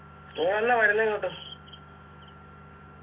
നീ എന്നാ വരുന്നേ ഇങ്ങോട്ട്